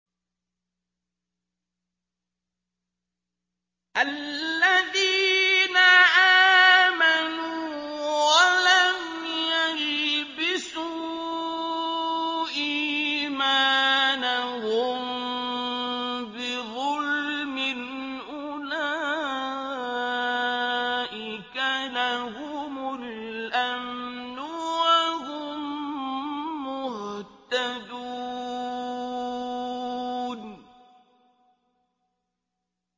الَّذِينَ آمَنُوا وَلَمْ يَلْبِسُوا إِيمَانَهُم بِظُلْمٍ أُولَٰئِكَ لَهُمُ الْأَمْنُ وَهُم مُّهْتَدُونَ